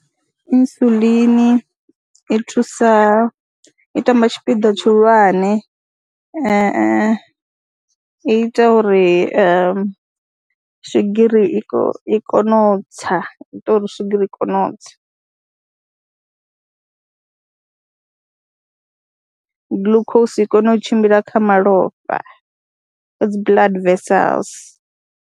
Insulin i thusa, i tamba tshipiḓa tshihulwane i ita uri swigiri i kone i kone u tsa, ita uri swigiri i kone u tsa, glucose i kone u tshimbila kha malofha a dzi blood wessels.